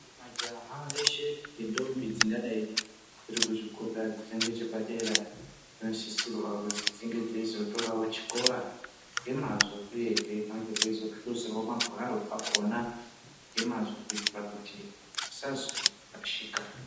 Majaha eshe nendombi dzingadai dzirikuzvikora dzinenge chepadera vanosisirwa kuzi dzinge dzeizotorawo chikora ngemazvo uyehe vange veizohluzawo magwaro akona ngemazvo kuitira kuti tisazo rashika.